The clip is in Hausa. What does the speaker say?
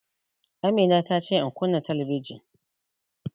Amina ta ce in kunna talabijin